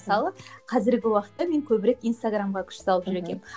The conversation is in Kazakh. мысалы қазіргі уақытта мен көбірек инстаграмға күш салып жүр екенмін